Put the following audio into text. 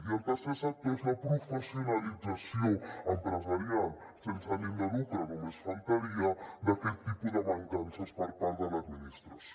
i el tercer sector és la professionalització empresarial sense ànim de lucre només faltaria d’aquest tipus de mancances per part de l’administració